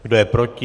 Kdo je proti?